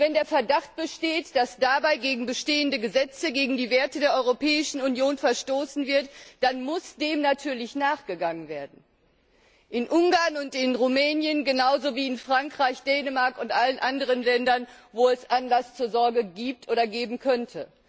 Und wenn der Verdacht besteht, dass dabei gegen bestehende Gesetze, gegen die Werte der Europäischen Union verstoßen wird, dann muss dem natürlich nachgegangen werden, in Ungarn und in Rumänien, genauso wie in Frankreich, Dänemark und allen anderen Ländern, in denen es Anlass zur Sorge gibt oder geben könnte.